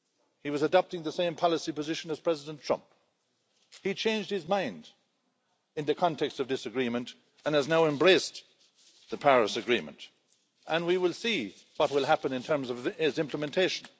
He was adopting the same policy position as President Trump. He changed his mind in the context of this agreement and has now embraced the Paris Agreement, and we will see what will happen in terms of its implementation.